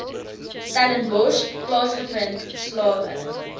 stellenbosch plaasgevind slawe